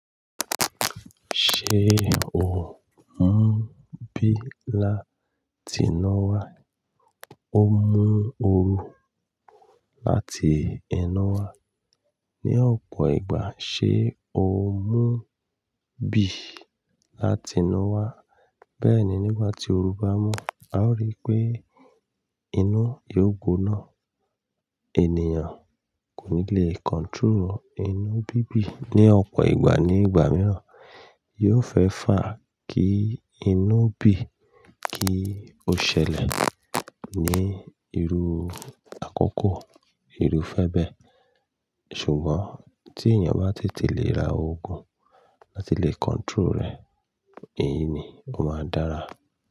Ṣé o ń mú bí láti iná wá? Ó mú oru láti inu wá. Ni ọ̀pọ̀ ìgbà, ṣe ó ń mú bí láti inu wá. Bẹ́ẹ̀ ni nígbà tí oru bá mu, a ó rí pé inú eégún náà ènìyàn kò ní lè control inú bíbí. Ni ọ̀pọ̀ ìgbà ní ìgbà mìíràn, yóò fẹ́ fà kí inú bí kí ó ṣẹlẹ̀ ní irú àkọ́kọ́, irú fẹ́ẹ́ bẹ́ẹ̀. Ṣùgbọ́n tí èèyàn bá tètè lè ra òògùn láti lè control rẹ̀, èyí ni ó máa dára.